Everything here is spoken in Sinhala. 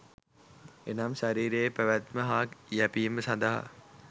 එනම් ශරීරයේ පැවැත්ම හා යැපීම සඳහා